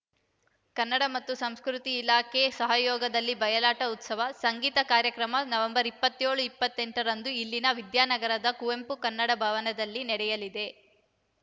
ಕನ್ನಡ ಮತ್ತು ಸಂಸ್ಕೃತಿ ಇಲಾಖೆ ಸಹಯೋಗದಲ್ಲಿ ಬಯಲಾಟ ಉತ್ಸವ ಸಂಗೀತ ಕಾರ್ಯಕ್ರಮ ನವೆಂಬರ್ ಇಪ್ಪತ್ಯೋಳು ಇಪ್ಪತ್ತೆಂಟರಂದು ಇಲ್ಲಿನ ವಿದ್ಯಾನಗರದ ಕುವೆಂಪು ಕನ್ನಡ ಭವನದಲ್ಲಿ ನಡೆಯಲಿದೆ